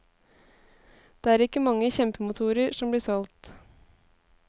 Det er ikke mange kjempemotorer som blir solgt.